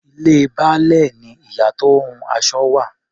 Ilé Baálẹ̀ ni ìyá tó ń hun aṣọ wà.